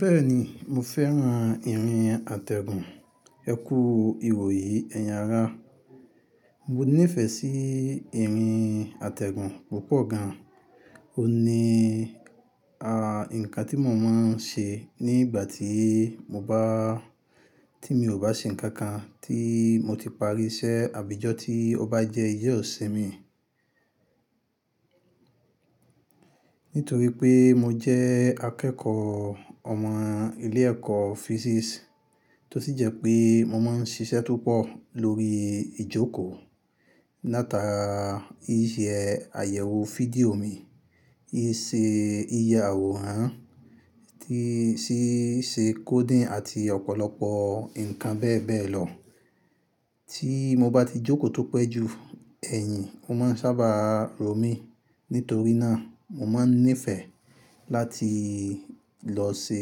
Bẹ́ẹ̀ni, mo fẹ́ran ìrìn àtẹ̀gùn, ẹ kú ìwòye ẹ̀yin ará. Mo níìfẹ̀ sí ìrìn àtẹ̀gùn púpọ̀ gan. Ó ní, à, nǹkan tí mo máa ń ṣe nígbà tí mo bá, tí mi ò bá ṣe nǹkan kan tí mo ti parí iṣẹ́ àbí ijọ́ tí ó bá jẹ́ ijọ́ sìn mi. Nítorí pé mo jẹ́ akẹ́kọ̀ọ́ ọmọ ilé ẹ̀kọ́ physics tó sì jẹ́ pé mo máa ń ṣiṣẹ́ tópọ̀ lórí ìjókòó, látara ìṣe àyẹ̀wò fídíò mi, ìṣe ìyàwòrán, tíṣe coding àti ọ̀pọ̀lọpọ̀ nǹkan bẹ́ẹ̀ bẹ́ẹ̀ lọ. Tí mo bá ti jókòó tó pẹ́ ju ẹ̀yìn, ó máa ń sábà rọ̀ mí. Nítorí náà, mo máa ń nífẹ̀ẹ́ láti lọ ṣe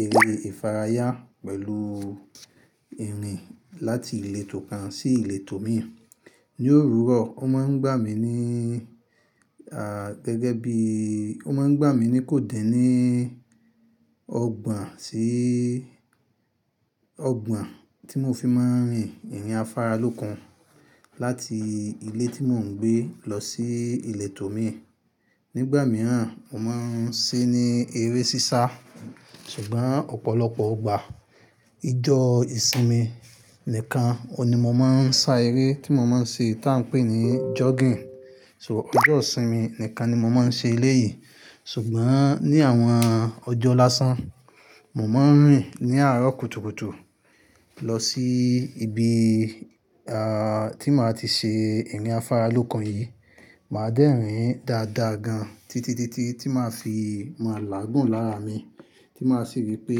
eré ìfarayà pẹ̀lú ìrìn láti ìletò kan sí ìletò mi. Ni òróró, ó máa ń gbà mí ní, à, gẹ́gẹ́ bí, ó máa ń gbà mí ní kò díní ọgbọ̀n sí, ọgbọ̀n tí mo fi máa ń rìn ìrìn afáralókun láti ilé tí mò ń gbé lọ sí ìletò mi. Nígbà mìíràn, mo máa ń ṣe ní eré sísá. Ṣùgbọ́n ọ̀pọ̀lọpọ̀ ọgbà ìjọ ìsinmi nìkan, òní mo máa ń sá eré tí mo máa ń ṣe tá ń pè ní jogging. Tọ̀ ọjọ́ ìsinmi nìkan ni mo máa ń ṣe elè yìí. Ṣùgbọ́n ní àwọn ọjọ́ láṣán, mo máa ń rìn ní àárọ̀ kùtùkùtù lọ sí ibi, à, tí màá ti ṣe ìrìn afáralókun yìí. Màá dẹ́rìn dáadáa gan títí, títí, tí màá fi máa làágùn lára mi, tí màá sì wípé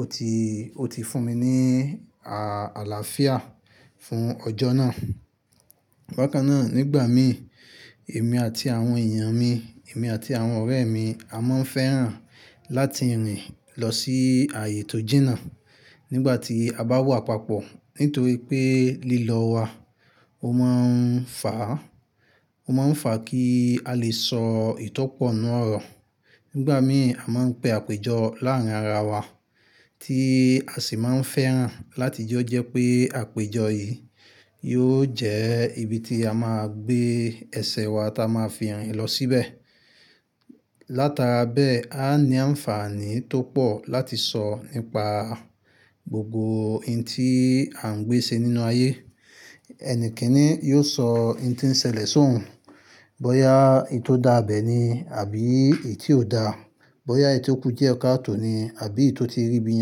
ó ti, ó ti fún mi ní, à, àlàáfíà fún ọjọ́ náà. Bákan náà, nígbà mi, èmi àti àwọn èèyàn mi, èmi àti àwọn ọ̀rẹ́ mi a máa ń fẹ́ran láti rìn lọ sí ààyè tó jìnà nígbà tí a bá wà papọ̀. Nítorí pé lílọ wa ó máa ń fà á, ó máa ń fà kí a lè sọ ìtọ́pọ̀nú ọ̀rọ̀. Nígbà mi a máa ń pe àpéjọ láàárín ara wa tí a sì máa ń fẹ́ran láti jọ́ jẹ́ pé àpéjọ yìí yóò jẹ́ ibi tí a máa gbé ẹsẹ̀ wa tá a máa fi rìn lọ síbẹ̀. Látara bẹ́ẹ̀, a ní ànfààní tó pọ̀ láti sọ nípa gbogbo ohun tí a ń gbé ṣe nínú ayé. Ẹni kíní yóò sọ ohun tí ń ṣẹlẹ̀ sóun bóyá èyí tó dáa bẹ̀ ni àbí èyítí ò dáa bóyá èyí tó kù díẹ̀ káà tó ni àbí èyí tó ti rí ibi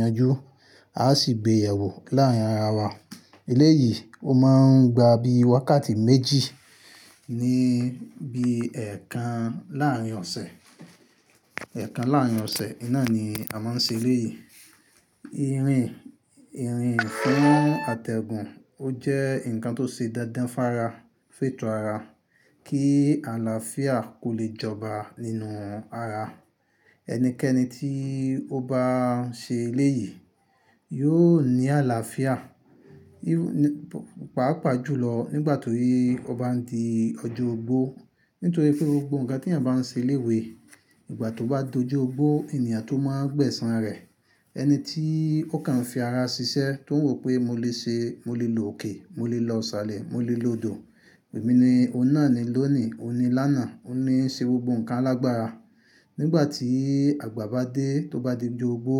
yanjú á sì gbèyẹ̀wò láàrin ara wa lé yìí ó máa ń gba bí i wákàtí méjì níbi ẹẹ́kan láàárín ọ̀sẹ̀, ẹẹ́kan láàárín ọ̀sẹ̀. Iná ni a máa ń ṣe elè yìí. Ìrìn, ìrìn fún àtẹ̀gùn ó jẹ́ nǹkan tó ṣe dándán fára, féto ara kí àlàáfíà kó lè jọba nínú ara. Ẹnikẹ́ni tí ó bá ń ṣe ieé yìí yóò ní àlàáfíà. Pàápàá jùlọ nígbà tó ye ó bá ń di ọjọ́ ogbó. Nítorí pé gbogbo nǹkan tí èèyàn bá ń ṣe léwé, ìgbà tó bá dojọ́ ogbó n lèèyàn tó món gbẹ̀san rẹ̀. Ẹni tí ó kàn ń fi ara ṣiṣẹ́ tó ń wò pé mo lè ṣe, mo lè lo òkè, mo lè lọ ṣàlẹ̀, mo lè lo odò. Èmi ni, òun náà ni lónìí, òun ni lánàá, òun ní ń ṣe gbogbo nǹkan alágbára. Nígbà tí àgbà bá dé tó bá di ojóogbó,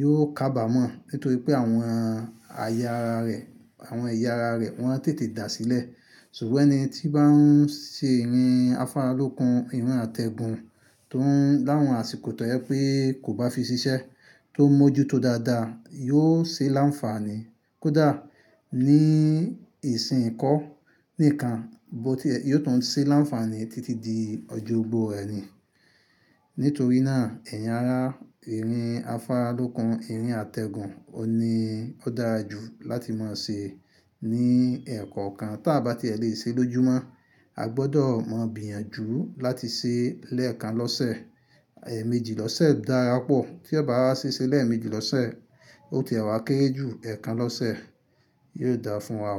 yóò kábà mọ́. Nítorí pé àwọn aya ara rẹ̀, àwọn ẹ̀yà ara rẹ̀ wọ́n á tètè dà sílẹ̀. Ṣùgbọ́n ẹni tí bá ń ṣe ìrìn afáralókun, ìrìn àtẹ̀gùn tó ń láwọn àsìkò tọ́ yẹ pé kò bá fi ṣiṣẹ́ tó ń mójú tó dáadáa yóò ṣe láǹfààní. Kódà ní ìsìn kọ́ nìkan bó ti, yóò tún ṣe láǹfààní títí di ojú ogbó ẹni. Nítorí náà, ẹ̀yin ará ìrìn afáralókun, ìrìn àtẹ̀gùn òun ni ó dára jù láti máa ṣe ní ẹ̀ẹ̀kọ̀kan táa bá ti ẹ lè ṣe lójúmọ́. A gbọdọ̀ mọ̀ bíyànjú láti ṣe lẹ́ẹ̀kan lọ́sẹ̀, ẹ̀ẹ̀mejì lọ́sẹ̀ dára pọ̀. Tí ẹ bá wá ṣe ṣe lẹ́ẹ̀mejì lọ́sẹ̀, ó ti ẹ wa kéré jù ẹẹ́kan lọ́sẹ̀, yóò dára fún wa.